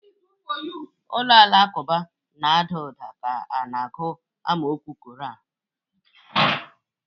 Ụlọ alakụba na-ada ụda ka a na-agụ amaokwu koran.